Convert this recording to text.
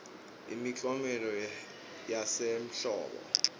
imiklomelo yasehlobo